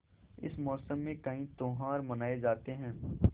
इस मौसम में कई त्यौहार मनाये जाते हैं